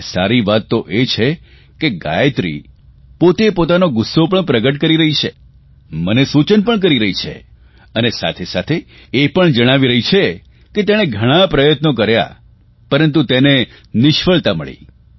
અને સારી વાત તો એ છે કે ગાયત્રી પોતે પોતાનો ગુસ્સો પણ પ્રગટ કરી રહી છે મને સૂચન પણ કરી રહી છે અને સાથેસાથે એ પણ જણાવી રહી છે કે તેણે ઘણાં પ્રયત્નો કર્યા પરંતુ તેને નિષ્ફળતા મળી